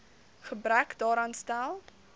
gebrek daaraan stel